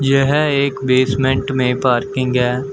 यह एक बेसमेंट में पार्किंग है।